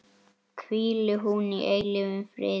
Hvíli hún í eilífum friði.